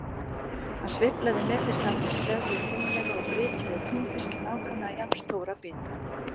Hann sveiflaði meters langri sveðju fimlega og brytjaði túnfisk í nákvæmlega jafn stóra bita.